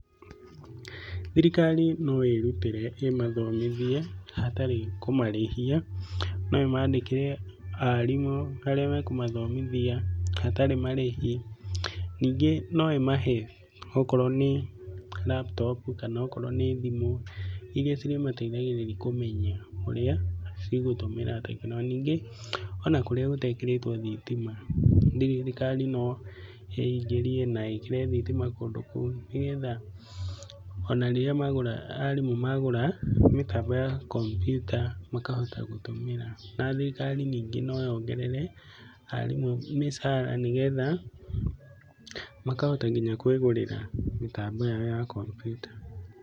Thirikari no ĩrutĩre ĩmathomithie hatarĩ kũmarĩhia, no ĩmandĩkĩre arimũ arĩa makumathomithia hatarĩ marĩhi. Ningĩ no ĩmahe okorwo nĩ laptop kana okorwo nĩ thimũ iria cirĩmateithagĩrĩria kũmenya ũrĩa cigũtũmĩra tekinoronjĩ. Na ningĩ ona kũrĩa gũtekĩrĩtwo thitima, thirikari no ĩngĩrie na ĩkĩre thitima kũndũ kũu, nĩgetha ona rĩrĩa arimũ magũra mĩtambo ya kompiuta makahota gũtũmĩra. Na thirikari ningĩ no yongerere arimũ mĩcara, nĩgetha makahota nginya kwĩgũrĩra mĩtambo yao ya kompiuta.